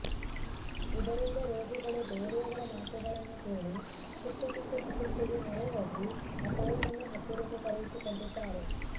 ಇದರಿಂದ ರೋಗಿಗಳು ಬೇರೆಯವರ ಮಾತುಗಳನ್ನು ಕೇಳಿ ಸಿಕ್ಕ ಸಿಕ್ಕ ಚಿಕಿತ್ಸೆಗೆ ಮೊರೆ ಹೋಗಿ ಅಪಾಯವನ್ನು ಹತ್ತಿರಕ್ಕೆ ಕರೆಯಿಸಿಕೊಂಡಿದ್ದಾರೆ